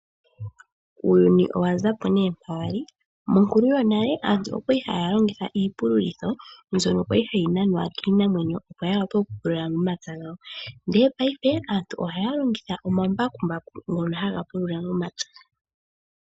Uuyuni owa zapo ne mpa wali. Monkulu yonale aantu oha longitha iipululitho mbyono kwali yayi nanwa kiinamwenyo oku pulula omapya gawo ndele paife aantu ohaya longitha omambakumbaku haga pulula momapya.